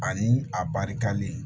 Ani a barikalen